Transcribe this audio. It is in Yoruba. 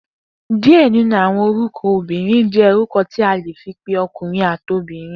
Diẹ ninu awọn orukọ obinrin jẹ̀ orukọ tí a le fì pẹ ọkurin ati obirin